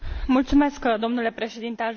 Mulțumesc domnule președinte.